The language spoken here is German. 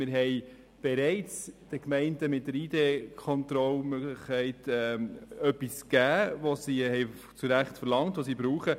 Mit der Möglichkeit der Identitätskontrolle haben wir den Gemeinden bereits etwas gegeben, das sie zu Recht verlangt haben und das sie brauchen.